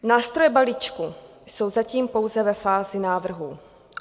Nástroje balíčku jsou zatím pouze ve fázi návrhů.